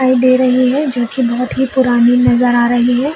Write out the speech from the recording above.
दिखाई दे रही है जो की बहोत ही पुरानी नज़र आ रही है।